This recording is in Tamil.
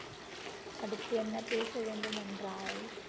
அடுத்து என்ன பேச வேண்டும் என்றால்